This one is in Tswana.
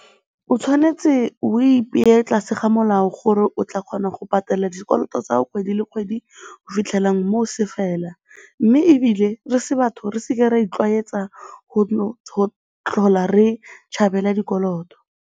O tshwanetse o ipeye tlase ga molao gore o tla kgona go patela dikoloto tsa kgwedi le kgwedi go fitlhela moo se fela mme ebile re se batho re se ke ra itlwaetsa go tlhola re tšhabela dikoloto.